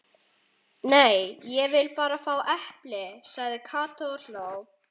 Nei, ég vil bara fá epli sagði Kata og hló.